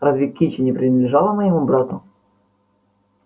разве кичи не принадлежала моему брату